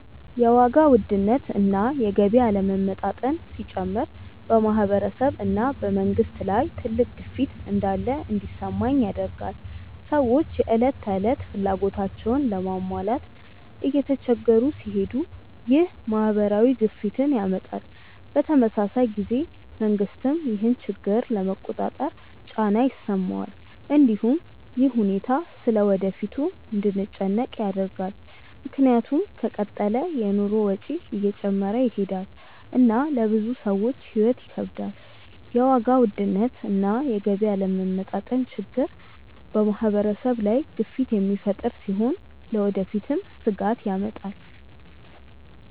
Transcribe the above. የዋጋ ውድነት እና የገቢ አለመመጣጠን ሲጨምር በማህበረሰብ እና በመንግስት ላይ ትልቅ ግፊት እንዳለ እንዲሰማኝ ያደርገኛል። ሰዎች የዕለት ተዕለት ፍላጎታቸውን ለመሟላት እየተቸገሩ ሲሄዱ ይህ ማህበራዊ ግፊትን ያመጣል። በተመሳሳይ ጊዜ መንግስትም ይህን ችግር ለመቆጣጠር ጫና ይሰማዋል። እንዲሁም ይህ ሁኔታ ስለ ወደፊቱ እንድንጨነቅ ያደርጋል፣ ምክንያቱም ከተቀጠለ የኑሮ ወጪ እየጨመረ ይሄዳል እና ለብዙ ሰዎች ሕይወት ይከብዳል። የዋጋ ውድነት እና የገቢ አለመመጣጠን ችግር በማህበረሰብ ላይ ግፊት የሚፈጥር ሲሆን ለወደፊትም ስጋት ያመጣል።